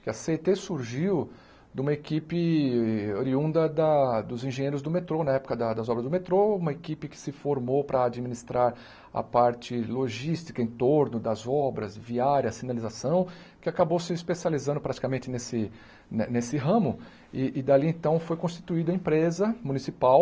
que a cê ê tê surgiu de uma equipe oriunda da dos engenheiros do metrô, na época da das obras do metrô, uma equipe que se formou para administrar a parte logística em torno das obras viárias, sinalização, que acabou se especializando praticamente nesse né nesse ramo e e dali então foi constituída a empresa municipal